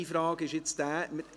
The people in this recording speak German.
Meine Frage ist nun: